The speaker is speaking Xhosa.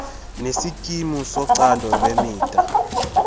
nesikimu socando lwemida